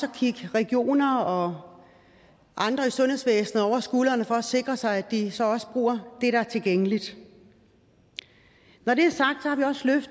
kigge regioner og andre i sundhedsvæsenet over skulderen for at sikre sig at de så også bruger det der er tilgængeligt når det